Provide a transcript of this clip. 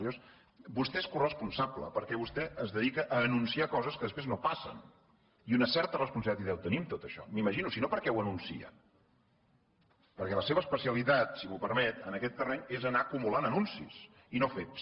llavors vostè n’és coresponsable perquè vostè es dedica a anunciar coses que després no passen i una certa responsabilitat hi deu tenir en tot això m’imagino si no per què ho anuncia perquè la seva especialitat si m’ho permet en aquest terreny és anar acumulant anuncis i no fets